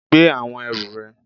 Gbé àwọn ẹrù rẹ